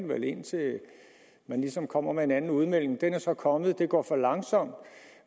vi vel indtil man ligesom kommer med en anden udmelding den er så kommet det går for langsomt